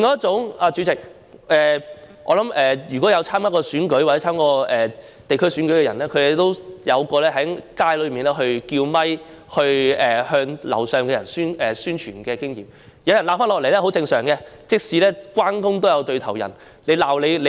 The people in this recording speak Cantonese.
主席，我想，參與過選舉的人都有在街上用麥克風向住在樓上的居民宣傳的經驗，因此，都知道有人叫罵回應是很正常的，正所謂"關公也有對頭人"。